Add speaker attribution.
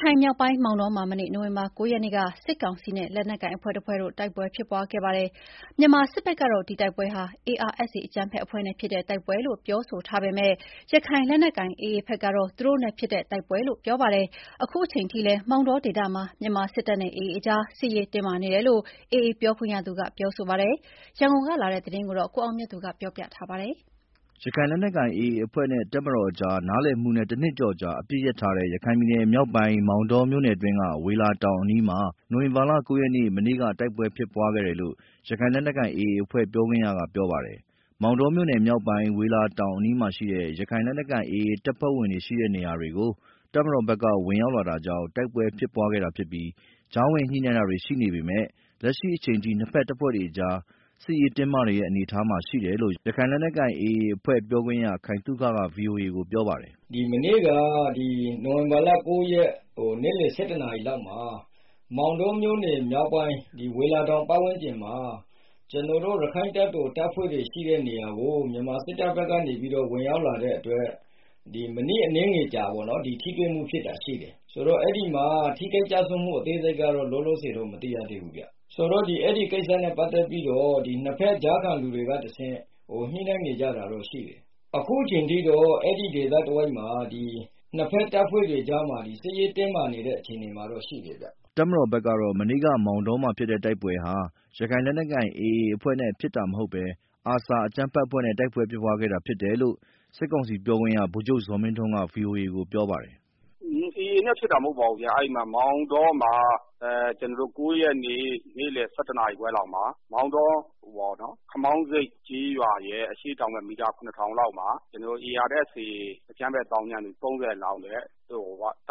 Speaker 1: ခိုင်မြောက်ပိုင်း မောင်တောမှာ မနေ့ နိုဝင်ဘာလ ၉ ရက်နေ့က စစ်ကောင်စီနဲ့ လက်နက်ကိုင်အဖွဲ့တဖွဲ့ တိုက်ပွဲဖြစ်ခဲ့ပါတယ်။ မြန်မာစစ်ဘက်ကတော့ ဒီတိုက်ပွဲဟာ ARSA အကြမ်းဖက်အဖွဲ့နဲ့ဖြစ်တဲ့ တိုက်ပွဲလို့ ပြောဆိုထားပေမယ့် ရခိုင်လက်နက်ကိုင် AA ဘက်ကတော့ သူတို့နဲ့ဖြစ်တဲ့တိုက်ပွဲလို့ ပြောပါတယ်။ အခုအချိန်အထိလည်း မောင်တောဒေသမှာ မြန်မာစစ်တပ်နဲ့ AA အကြား စစ်ရေးတင်းမာနေတယ်လို့ AA ပြောခွင့်ရသူက ပြောဆိုပါတယ်။ ရန်ကုန်ကလာတဲ့သတင်းကို ကိုအောင်မြတ်သူ ပြောပြမှာပါ။
Speaker 2: ရခိုင်လက်နက်ကိုင် AA အဖွဲ့နဲ့ တပ်မတော်ကြား နားလည်မှုနဲ့ တနှစ်ကျော်ကြာ အပစ်ရပ်ထားတဲ့ ရခိုင်ပြည်နယ်မြောက်ပိုင်း မောင်တောမြို့နယ်အတွင်းက ဝေလာတောင်အနီးမှာ နိုဝင်ဘာလ ၉ ရက်နေ့ မနေ့က တိုက်ပွဲဖြစ်ပွားခဲ့တယ်လို့ ရခိုင်လက်နက်ကိုင် AA အဖွဲ့ ပြောခွင့်ရက ပြောပါတယ်။ မောင်တောမြို့နယ်မြောက်ပိုင်း ဝေလာတောင်အနီးမှာရှိတဲ့ ရခိုင်လက်နက်ကိုင် AA တပ်ဖွဲ့ဝင်တွေရှိတဲ့ နေရာတွေကို တပ်မတော်ဘက်က ဝင်ရောက်လာတာကြောင့် တိုက်ပွဲဖြစ်ပွားခဲ့တာဖြစ်ပြီး ကြားဝင်ညှိနှိုင်းတာတွေ ရှိနေပေမယ့် လက်ရှိအချိန်ထိ နှစ်ဖက်အဖွဲ့တွေကြား စစ်ရေးတင်းမာနေတဲ့ အနေအထားမှာ ရှိတယ်လို့ ရခိုင်လက်နက်ကိုင် AA အဖွဲ့ ပြောခွင့်ရ ခိုင်သုခက ဗွီအိုအေကို ပြောပါတယ်
Speaker 3: ။ “မနေ့က နိုဝင်ဘာလ ၉ ရက် နေ့လယ် ၁၁ နာရီမှာ မောင်တောမြို့နယ် မြောက်ပိုင်း ဝေလာတောင် ပတ်ဝန်းကျင်မှာ ကျနော်တို့ ရခိုင့်တပ်တော် တပ်ဖွဲ့တွေရှိတဲ့နေရာကို မြန်မာစစ်တပ်ဘက်က ဝင်ရောက်လာတဲ့အတွက် မိနစ်အနည်းငယ်ကြာ ထိတွေ့မှုဖြစ်တာ ရှိတယ်။ အဲဒီမှာ ထိခိုက်ကျဆုံးမှု အသေးစိတ်ကတော့ လောလောဆယ် မသိရသေးပါဘူးခင်ဗျာ။ ဆိုတော့ အဲဒီကိစ္စနဲ့ ပတ်သက်ပြီးတော့ နှစ်ဖက် ကြားခံလူတွေကတဆင့် ညှိနှိုင်းနေကြတာတွေတော့ ရှိတယ်။ အခုအချိန်ထိ အဲဒီဒေသမှာ နှစ်ဖက်တပ်ဖွဲ့တွေကြား စစ်ရေးတင်းမာနေတဲ့ အနေအထားမှာ ရှိတယ်ဗျာ
Speaker 2: ။” တပ်မတော်ဘက်ကတော့ မနေ့က မောင်တောမှာဖြစ်တဲ့ တိုက်ပွဲဟာ ရခိုင်လက်နက်ကိုင် AA အဖွဲ့နဲ့ဖြစ်တာမဟုတ်ဘဲ ARSA အကြမ်းဖက်အဖွဲ့နဲ့ တိုက်ပွဲဖြစ်ပွားခဲ့တာ ဖြစ်တယ်လို့ စစ်ကောင်စီပြောခွင့်ရ ဗိုလ်ချုပ်ဇော်မင်းထွန်းက ဗွီအိုအေကို ပြောပါတယ်
Speaker 4: ။ “AA နဲ့ဖြစ်တာ မဟုတ်ပါဘူးဗျာ။ အဲဒီမှာ မောင်တောမှာ ၉ ရက်နေ့ နေ့လယ် ၁၁ နာရီခွဲလောက်မှာ မောင်တော ခမောင်းဆိပ်ကျေးရွာရဲ့ အရှေ့တောင်ဘက် မီတာ ၇,၀၀၀ လောက်မှာ ARSA အကြမ်းဖက်သောင်းကျန်းသူ ၃၀ လောက်နဲ့ တ